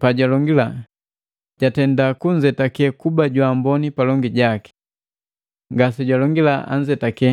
Paalonge, “Jatenda kunzetake kuba jwaamboni palongi jaki.” Ngasealonge anzetaki